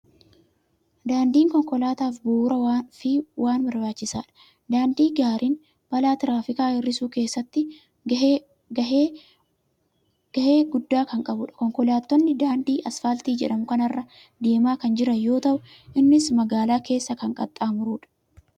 Daandiin konkolaataaf bu'uuraa fi waan barbaachisaadha. Daandii gaariin balaa tiraafikaa hir'isuu keessatti gahee guddaa kan qabudha. Konkolaattonni daadnii asfaaltii jedhamu kana irra deemaa kan jiran yoo ta'u, innis magaalaa keessa kan qaxxaamurudha.